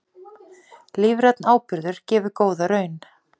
Lífrænn áburður gefur góða raun